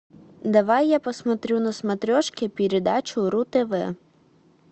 давай я посмотрю на смотрешке передачу ру тв